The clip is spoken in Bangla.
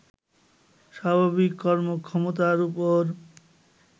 স্বাভাবিক কর্মক্ষমতার উপর